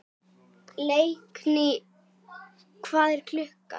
Orðin velktust uppi í munninum á honum.